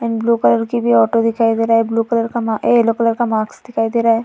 And blue colour की भी auto दिखाई दे रहा है। ब्लू कलर येल्लो कलर का मास्क दिखाई दे रहा है।